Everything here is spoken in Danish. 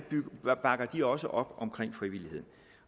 bakker de også op om frivilligheden